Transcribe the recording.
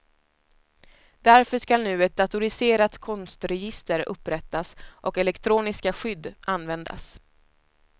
Därför skall nu ett datoriserat konstregister upprättas och elektroniska skydd användas.